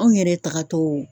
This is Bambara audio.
Anw yɛrɛ taagatɔw